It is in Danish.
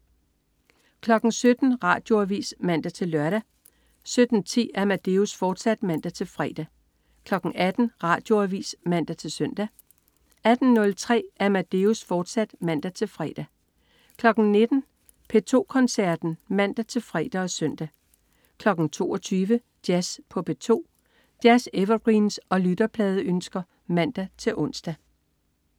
17.00 Radioavis (man-søn) 17.10 Amadeus, fortsat (man-fre) 18.00 Radioavis (man-søn) 18.03 Amadeus, fortsat (man-fre) 19.00 P2 Koncerten (man-fre og søn) 22.00 Jazz på P2. Jazz-evergreens og lytterpladeønsker (man-ons)